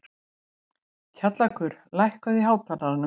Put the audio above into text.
Kjallakur, lækkaðu í hátalaranum.